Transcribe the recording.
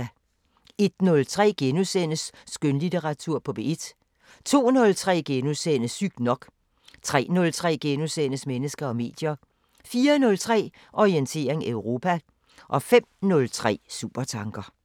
01:03: Skønlitteratur på P1 * 02:03: Sygt nok * 03:03: Mennesker og medier * 04:03: Orientering Europa 05:03: Supertanker